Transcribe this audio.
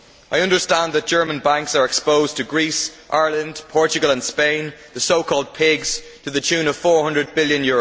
I understand that German banks are exposed to Greece, Ireland, Portugal and Spain, the so called PIGS', to the tune of EUR 400 billion.